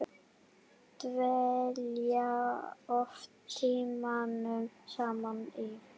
Dvelja oft tímunum saman í